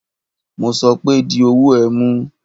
Mo sọ pé di ọwọ ẹ̀ mú.!